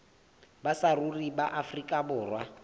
ba saruri ba afrika borwa